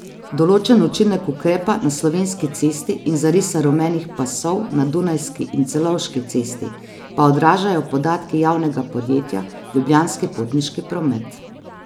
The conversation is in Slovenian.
Določen učinek ukrepa na Slovenski cesti in zarisa rumenih pasov na Dunajski in Celovški cesti pa odražajo podatki javnega podjetja Ljubljanski potniški promet.